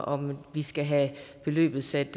om vi skal have beløbet sat